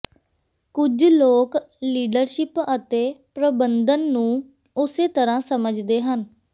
ਕੁਝ ਲੋਕ ਲੀਡਰਸ਼ਿਪ ਅਤੇ ਪ੍ਰਬੰਧਨ ਨੂੰ ਉਸੇ ਤਰ੍ਹਾਂ ਸਮਝਦੇ ਹਨ